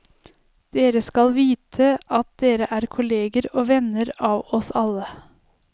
Dere skal vite at dere er kolleger og venner av oss alle.